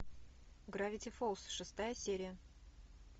гравити фолз шестая серия